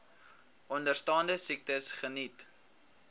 onderstaande siektes geniet